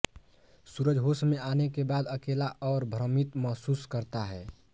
सूरज होश में आने के बाद अकेला और भ्रमित महसूस करता है